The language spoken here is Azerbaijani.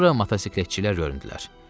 Sonra motosikletçilər göründülər.